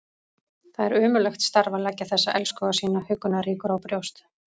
Það er ömurlegt starf að leggja þessa elskhuga sína huggunarríkur á brjóst.